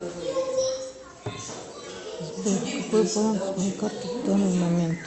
сбер какой баланс моей карты в данный момент